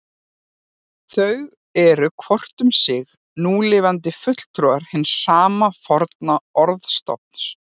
Þau eru hvort um sig núlifandi fulltrúi hins sama forna orðstofns.